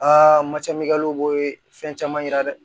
matɛ fɛn caman yira dɛ